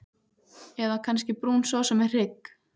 Eða kannski brún sósa með hrygg?